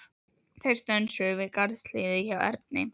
Þeir stönsuðu við garðshliðið hjá Erni.